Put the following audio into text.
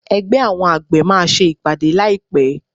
Ẹgbẹ́ àwọn àgbẹ̀ máa ṣe ìpàdé láì pé.